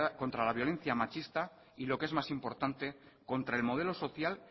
contra la violencia machista y lo que es más importante contra el modelo social